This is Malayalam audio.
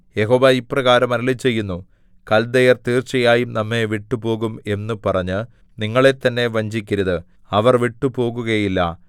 യഹോവ ഇപ്രകാരം അരുളിച്ചെയ്യുന്നു കല്ദയർ തീർച്ചയായും നമ്മെ വിട്ടുപോകും എന്നു പറഞ്ഞ് നിങ്ങളെത്തന്നെ വഞ്ചിക്കരുത് അവർ വിട്ടുപോകുകയില്ല